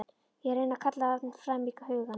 Ég reyni að kalla hann fram í hugann.